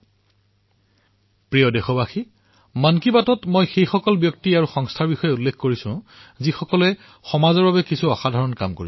মোৰ মৰমৰ দেশবাসীসকল মন কী বাতত মই সেই ব্যক্তি আৰু সংস্থাসমূহৰ বিষয়ে কওঁ যি সমাজৰ বাবে অসাধাৰণ কাম কৰে